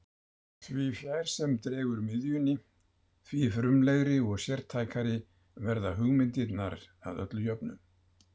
Því fjær sem dregur miðjunni, því frumlegri og sértækari verða hugmyndirnar að öllu jöfnu.